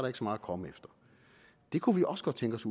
ikke så meget at komme efter det kunne vi også godt tænke os